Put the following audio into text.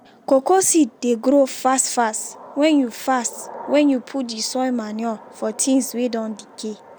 cocoa seed dey grow fast fast wen you fast wen you put d soil manure from things wey don decay.